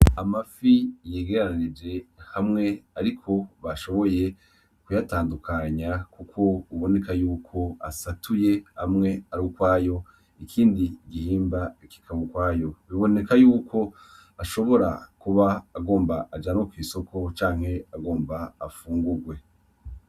Amafi yegeranije hamwe ariko bashoboye kuyatandukanya kuko biboneka yuko asatuye amwe ar'ukwayo; ikindi gihimba kikaba ukwayo, biboneka yuko ashobora kuba agomba ajanwe kw'isoko canke agomba afungugwe.